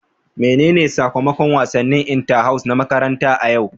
Menene sakamakon wasannin inter house na makaranta a yau?